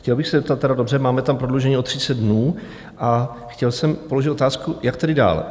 Chtěl bych se zeptat: dobře, máme tam prodloužení o 30 dnů, a chtěl jsem položit otázku, jak tedy dál.